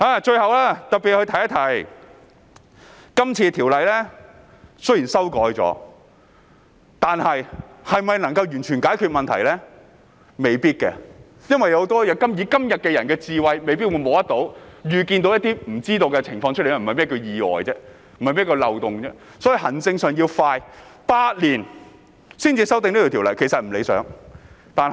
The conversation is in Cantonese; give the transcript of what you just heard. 最後提一下，雖然今次修改了條文，但未必能完全解決問題，因為我們今天的智慧未必能摸索或預見一些無法預知的情況，否則便不會說是意外、漏洞，所以行政上要做得快，要8年才修訂有關條例並不理想。